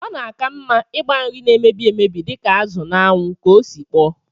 Ọ na-aka mma ịgba nri na-emebi emebi dịka azụ n'anwụ ka ọ sikpọọ